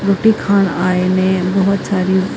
ਰੋਟੀ ਖਾਣ ਆਏ ਨੇ ਬਹੁਤ ਸਾਰੀ --